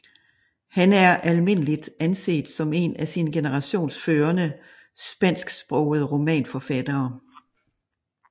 Han er almindeligt anset som en af sin generations førende spansksprogede romanforfattere